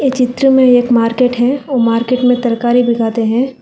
ये चित्र में एक मार्केट है वो मार्केट में तरकारी बिकाते हैं।